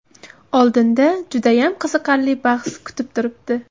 Oldinda judayam qiziqarli bahs kutib turibdi.